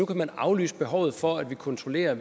kan aflyse behovet for at vi kontrollerer